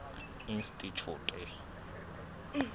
institjhute